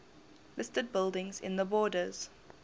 listed buildings in the borders